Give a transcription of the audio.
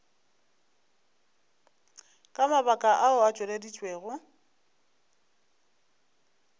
ka mabaka ao a tšweleditšwego